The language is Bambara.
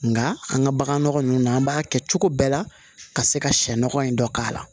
Nka an ka bagan nɔgɔ ninnu an b'a kɛ cogo bɛɛ la ka se ka sɛ nɔgɔ in dɔ k'a la